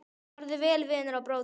Farðu vel, vinur og bróðir!